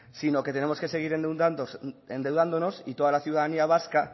sino que tenemos que seguir endeudándonos y toda la ciudadanía vasca